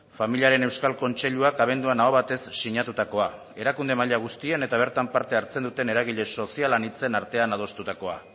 familiaren euskal kontseiluak abenduan aho batez sinatutakoa erakunde maila guztien eta bertan parte hartzen duten eragile sozial anitzen artean adostutakoa